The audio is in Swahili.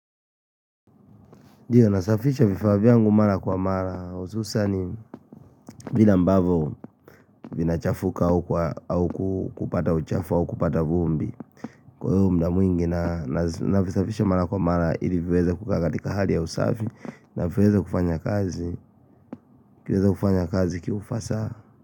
Ndiyo nasafisha vifaa vyangu mara kwa mara hususan vile ambavyo vinachafuka au kupata uchafu au kupata vumbi. Kwa muda mwingi na navisafisha mara kwa mara ili viweze kukaa katika hali ya usafi na viweze kufanya kazi kufanya kazi kiufasaha.